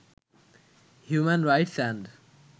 human rights and